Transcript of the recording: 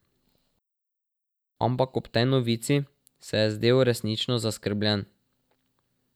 Ampak ob tej novici se je zdel resnično zaskrbljen.